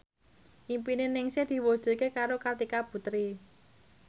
impine Ningsih diwujudke karo Kartika Putri